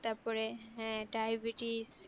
তারপরে হ্যাঁ diabetes